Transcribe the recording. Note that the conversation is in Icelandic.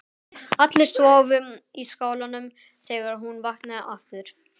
Allir sváfu í skálanum þegar hún vaknaði aftur.